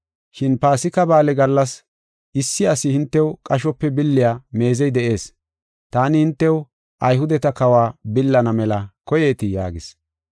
Shin Paasika Ba7aale gallas, issi ase hintew qashope billiya meezey de7ees. Taani hintew Ayhudeta kawa billana mela koyeetii?” yaagis.